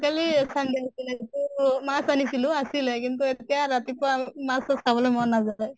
কালি sunday আছিলে সেইটো মাছ আনিছিলো, আছিলে কিন্তু এতিয়া ৰাতিপুৱা মাছ চাছ খাবলৈ মন নাযায়।